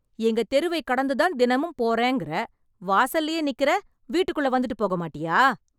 எங்க தெருவைக் கடந்துதான் தினமும் போறேங்கற... வாசல்லயே நிக்கறே, வீட்டுக்குள்ள வந்துட்டு போகமாட்டியா?